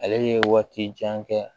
Ale ye waati jan kɛ